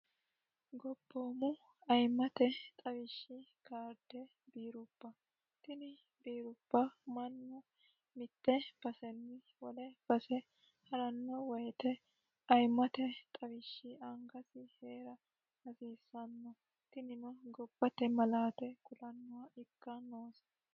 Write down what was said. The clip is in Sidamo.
gobboomu ayiimate xawishshi kaarde biirubba tini biirubba mannu mitte basenni wole base ha'ranno wayite ayimate xawishshi angasi hee'ra hasiissanno tinino gobbate malaate kulannowa ikka noosi